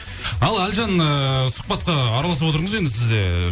ал әлжан ііі сұхбатқа араласып отырыңыз енді сіз де